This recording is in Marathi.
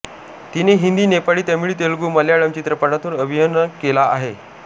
तिने हिंदी नेपाळी तमिळ तेलुगू मल्याळम चित्रपटांतून अभिनय केला आहे